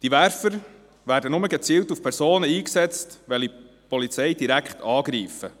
Diese Werfer werden nur gezielt gegen Personen eingesetzt, wenn diese die Polizei direkt angreifen.